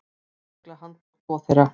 Lögregla handtók tvo þeirra.